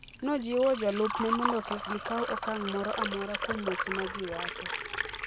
Nojiwo jolupne mondo kik gikaw okang' moro amora kuom weche ma ji wacho.